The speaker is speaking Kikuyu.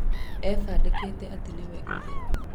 ebandĩkĩte atĩ nĩwe ithe